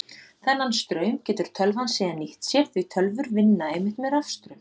Þennan straum getur tölvan síðan nýtt sér því tölvur vinna einmitt með rafstraum.